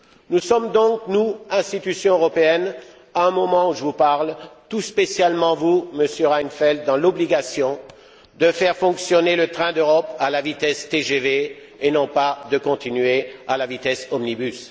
Nous sommes donc, nous, institutions européennes, au moment où je vous parle, et tout spécialement vous, Monsieur Reinfeldt, dans l'obligation de faire fonctionner le train de l'Europe à la vitesse TGV et non pas de continuer à la vitesse omnibus!